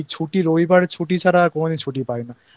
আমার ছুটি এই রবিবার ছুটি ছাড়া আর কোনো দিন ছুটি